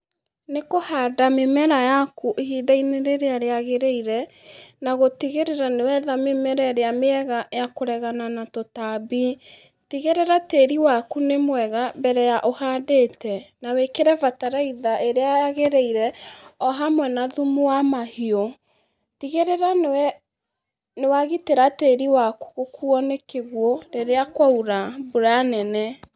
Nĩ kũhanda mĩmera yaku ihinda-inĩ rĩrĩa rĩagĩrĩire, na gũtigĩrĩra nĩwetha mĩmera ĩrĩa mĩega yakũregana na tũtambi, tigĩrĩra tĩri waku nĩ mwega mbere ya ũhandĩte, na wĩkĩre bataraitha ĩrĩa yagĩrĩire ohamwe na thumu wa mahiũ, tigĩrĩra nĩwe, nĩwagitĩra tĩri waku gũkuo nĩ kĩguũ rĩrĩa kwaura mbura nene.